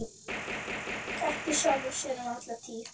Kenndi sjálfum sér um alla tíð.